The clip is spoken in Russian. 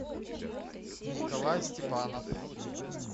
николай степанов